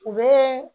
U bɛ